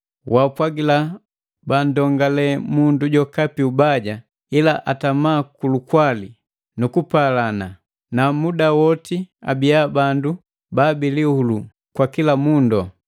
Waapwagila banndongale mundu jokapi ubaja; ila atama kulukwali nukupalana, na muda woti abiya bandu ba bilihulu kwa kila mundu.